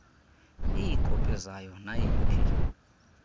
iikopi zayo nayiphi